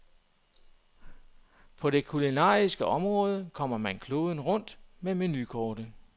På det kulinariske område kommer man kloden rundt med menukortet.